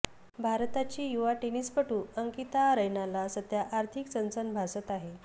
भारताची युवा टेनिसपटू अंकिता रैनाला सध्या आर्थिक चणचण भासत आहे